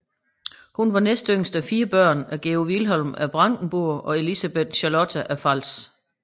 Hun var næst yngst af fire børn af Georg Vilhelm af Brandenburg og Elisabeth Charlotta af Pfalz